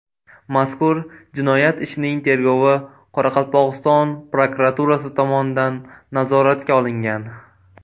Mazkur jinoyat ishining tergovi Qoraqalpog‘iston prokuraturasi tomonidan nazoratga olingan.